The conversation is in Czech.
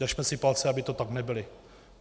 Držme si palce, aby to tak nebylo.